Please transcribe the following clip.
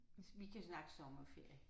Vi kan snakke sommerferie